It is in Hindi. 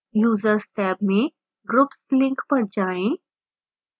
users टैब में groups link पर जाएं